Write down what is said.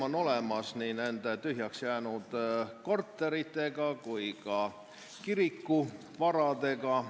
On olemas nii nende tühjaks jäänud korterite kui ka kiriku varade probleem.